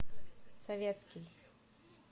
советский